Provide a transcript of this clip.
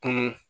Kɔnɔ